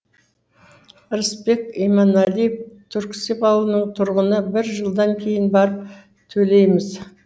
рысбек иманалиев түрксіб ауылының тұрғыны бір жылдан кейін барып төлейміз